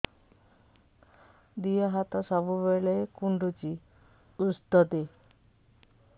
ଦିହ ହାତ ସବୁବେଳେ କୁଣ୍ଡୁଚି ଉଷ୍ଧ ଦେ